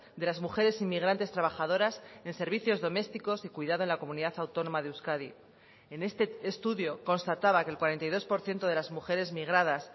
de las mujeres inmigrantes trabajadoras en servicios domésticos y cuidado en la comunidad autónoma de euskadi en este estudio constataba que el cuarenta y dos por ciento de las mujeres migradas